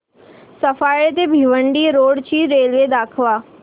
सफाळे ते भिवंडी रोड ची रेल्वे दाखव